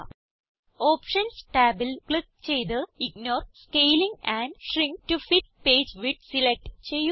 options ടാബിൽ click ചെയ്ത് ignore scaling and shrink to fit page width select ചെയ്യുക